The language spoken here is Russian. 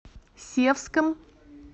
севском